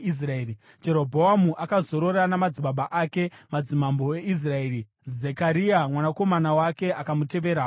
Jerobhoamu akazorora namadzibaba ake, madzimambo eIsraeri. Zekaria mwanakomana wake akamutevera paumambo.